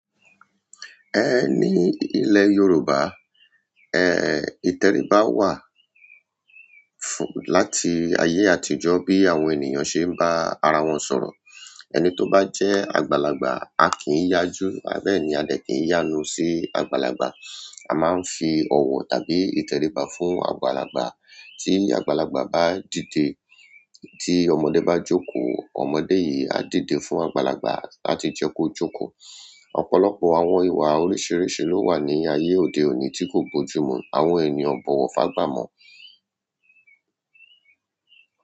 Ẹ ní ìle Yorùbá, ẹ, ìtẹríba wà fún-- láti ayé àtijọ́ bí àwọn ènìyàn ṣe ń bá ara wọn sọ̀rọ̀. Ẹni tó bá jẹ́ àgbàlagbà, a kì í yájú, àbẹ́ni a dẹ̀ kì í yánu sí àgbàlagbà. A máa ń fi ọ̀wọ̀ tàbí ìtẹríba fún àgbàlagbà. Tí àgbàlagbà bá dìde, tí ọmọdé bá jókòó, ọmọdé yìí á dìde fún àgbàlagbà láti jẹ́ kó jókòó. Ọ̀pọ̀lọpọ̀ àwọn ìyà oríṣiríṣi ló wà ní ayé òde òní tí kò bójú mú àwọn ènìyàn o bọ̀wọ̀ fágbà mọ́.